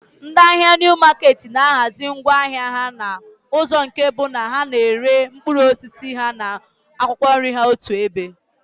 Ndị ahịa Niu maketi na-ahazi ngwá ahịa ha n'ụzọ nke bụ na ha na-ere mkpụrụ osisi ha na akwụkwọ nri otu ebe